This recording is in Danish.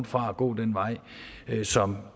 fra at gå den vej som